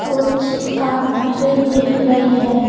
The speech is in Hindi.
कुछ काउंटर ए दिख रही है।